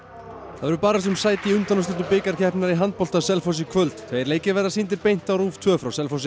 verður barist um sæti í undanúrslitum bikarkeppninnar í handbolta á Selfossi í kvöld tveir leikir verða sýndir beint á RÚV tveir frá Selfossi